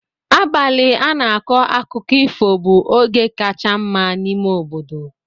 Abalị a na-akọ akụkọ ifo bụ oge kacha mma n'ime obodo.